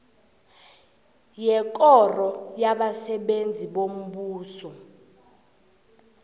yekoro yabasebenzi bombuso